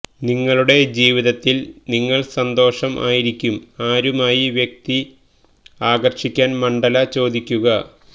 നിങ്ങളുടെ ജീവിതത്തിൽ നിങ്ങൾ സന്തോഷം ആയിരിക്കും ആരുമായി വ്യക്തി ആകർഷിക്കാൻ മണ്ഡല ചോദിക്കുക